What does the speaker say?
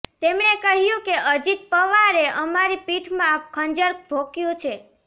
તેમણે કહ્યું કે અજીત પવારે અમારી પીઠમાં ખંજર ભોંક્યું છે